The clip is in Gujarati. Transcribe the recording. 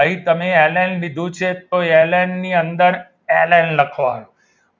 અહીં તમે એલેન લીધું છે તો એલ એન ની અંદર એલ એન લખવાનું